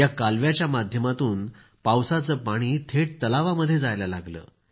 या कालव्याच्या माध्यमातून पावसाचं पाणी थेट तलावामध्ये जायला लागलं